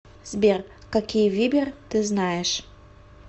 сбер какие вибер ты знаешь